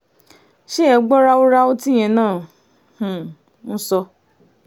ṣé ẹ gbọ́ ráúráú tíyẹn náà um ń sọ